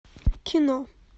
кино